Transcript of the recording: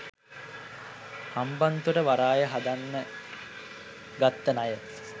හම්බන්තොට වරාය හදන්න ගත්ත ණය.